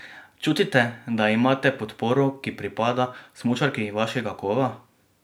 Čutite, da imate podporo, ki pripada smučarki vašega kova?